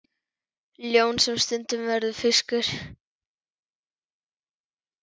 Ljón sem stundum verður fiskur.